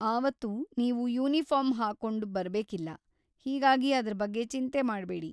ಆವತ್ತು ನೀವು ಯುನಿಫಾರ್ಮ್ ಹಾಕೊಂಡ್‌ ಬರ್ಬೇಕಿಲ್ಲ, ಹೀಗಾಗಿ ಅದ್ರ ಬಗ್ಗೆ ಚಿಂತೆ ಮಾಡ್ಬೇಡಿ.